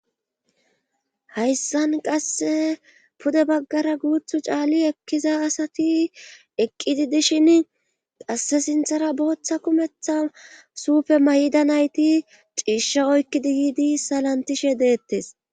Hayssan qasse pude baggara guuthu caali ekkiza asati eqqidi dishin qasse sinthara booththa kumetha suufe mayida nayti ciishsha oykkidi yiidi salantishe deettes.